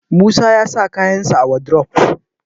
Musa ya sa kayansa a wadrof